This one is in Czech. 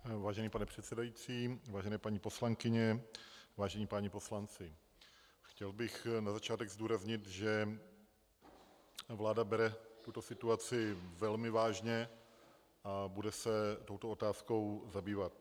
Vážený pane předsedající, vážené paní poslankyně, vážení páni poslanci, chtěl bych na začátek zdůraznit, že vláda bere tuto situaci velmi vážně a bude se touto otázkou zabývat.